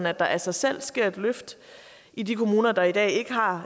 at der af sig selv sker et løft i de kommuner der i dag ikke har